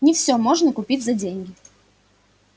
не всё можно купить за деньги